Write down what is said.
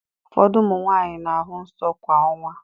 Ụfọdụ ụmụ nwaanyị na-ahụ nsọ kwa ọnwa.